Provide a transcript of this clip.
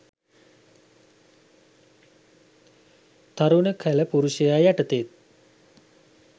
තරුණ කළ පුරුෂයා යටතේත්